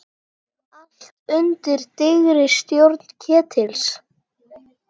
Allt undir dyggri stjórn Ketils.